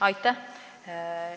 Aitäh!